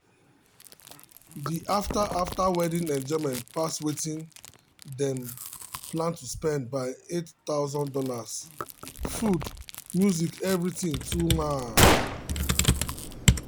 the after after wedding enjoyment pass wetin dem plan to spend by $8000 food music everything too mad.